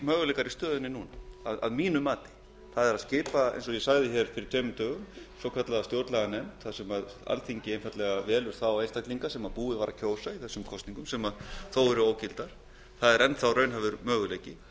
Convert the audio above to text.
möguleikar í stöðunni núna að mínu mati það er að skipa eins og ég sagði hér fyrir tveimur dögum svokallaða stjórnlaganefnd þar sem alþingi einfaldlega velur þá einstaklinga sem búið var að kjósa í þessum kosningum sem þó eru ógildar það er enn þá raunhæfur möguleiki